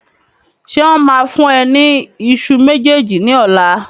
Ṣé wọn máa fún ẹ ní ìṣù méjèèjì ní ọ̀la?